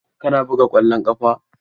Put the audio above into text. Kana buga ƙwallon ƙafa?